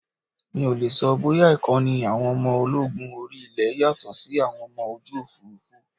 Mi ò lè sọ bóyá Ìkọ́ni àwọn ọmọ ológun orí ilé yàtọ̀ sí ti àwọn ọmọ ojú Òfurufú.